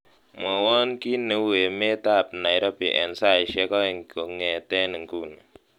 mwowon kiit neu emet ab Nairobi en saisiek oeng kong'eten inguni